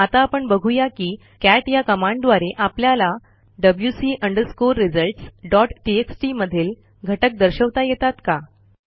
आता आपण बघू या की कॅट या कमांडद्वारे आपल्याला wc results डॉट टीएक्सटी मधील घटक दर्शवता येतात का